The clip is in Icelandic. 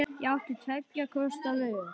Ég átti tveggja kosta völ.